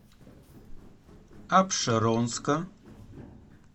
апшеронска